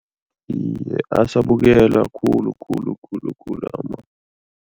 Iye, asabukelwa khulu khulu khulu khulu